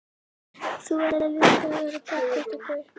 Þú ætlar líka að verða pottþéttur gaur.